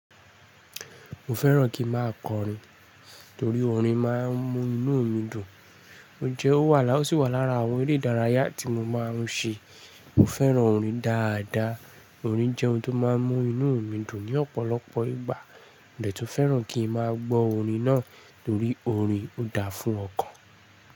Mo fẹ́ràn kí ma kọrin torí orin má a ń mú inú omi dùn. N jẹ́ ó wà láwọn, o sì wà lára àwọn eré ìdárayá tí mo ma ń ṣe. Mo fẹ́ràn orin dáadáa. Orin jẹ́ ohun tó má ń mú inú omi dùn ní ọ̀pọ̀lọpọ̀ ìgbà. Mo dẹ tun fẹ́ràn kí n má a gbọ́ orin náà torí orin ò dáa fún ọkàn.